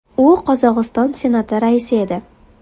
U Qozog‘iston Senati raisi edi.